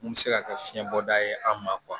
Mun bɛ se ka kɛ fiɲɛ bɔda ye an ma